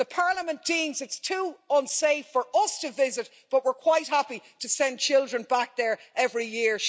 Parliament deems it too unsafe for us to visit, but we're quite happy to send children back there every year.